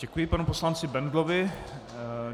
Děkuji panu poslanci Bendlovi.